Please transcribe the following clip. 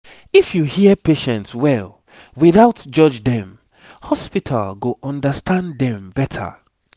if you hear patients well without judge dem hospital go understand dem better